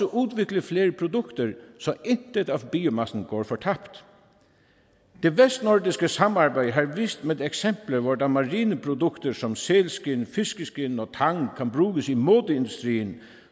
udvikle flere produkter så intet af biomassen går tabt det vestnordiske samarbejde har vist med eksempler hvordan marineprodukter som sælskind fiskeskind og tang kan bruges i modeindustrien